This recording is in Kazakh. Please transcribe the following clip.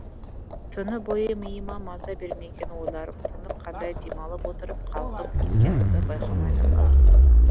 түні бойы миыма маза бермеген ойларым тыныққандай демалып отырып қалғып кеткенімді байқамай да қалыппын